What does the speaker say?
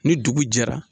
Ni dugu jɛra